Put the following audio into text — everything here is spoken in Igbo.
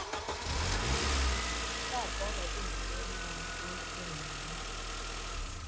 nke a bụ a bụ Ọnọdụ nke nla nke oké nọ na ya.